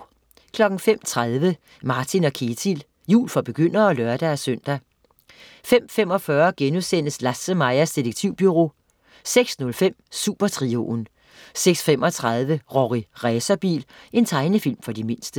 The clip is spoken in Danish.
05.30 Martin & Ketil, jul for begyndere (lør-søn) 05.45 Lasse-Majas Detektivbureau* 06.05 Supertrioen 06.35 Rorri Racerbil. Tegnefilm for de mindste